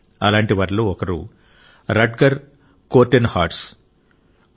అలాంటి వారిలో ఒకరు రట్గర్ కోర్టెన్హార్స్ట్ గారు